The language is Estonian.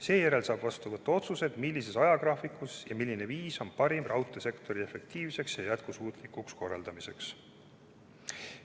Seejärel saab vastu võtta otsused, milline ajagraafik ja milline viis on parim raudteesektori efektiivseks ja jätkusuutlikuks korraldamiseks.